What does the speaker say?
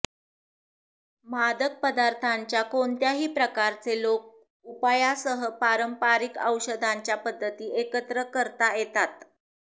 मादक पदार्थांच्या कोणत्याही प्रकारचे लोक उपायासह पारंपारिक औषधांच्या पद्धती एकत्र करता येतात